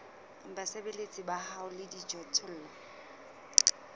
basebeletsi ba hao le dijothollo